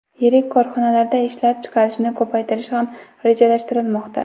Yirik korxonalarda ishlab chiqarishni ko‘paytirish ham rejalashtirilmoqda.